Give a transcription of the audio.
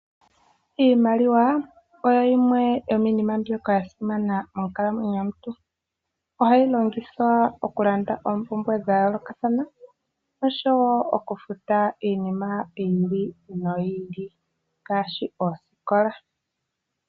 Iimaliwa oyo yimwe yo miinima mbyoka ya simana monkalamwenyo yomuntu. Ohayi longithwa okulanda oompumbwe dha yoolokathana osho wo okufuta iinima yi ili noyi ili, ngaashi osikola.